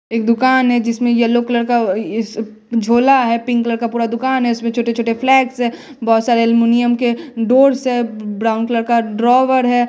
एक दुकान है जिसमें येलो कलर का झूला है पिंक कलर का पूरा दुकान है इसमें छोटे छोटे फ्लेक्स है। बहोत सारे एल्युमिनियम के डोर से ब्राउन कलर का ड्राॅवर है।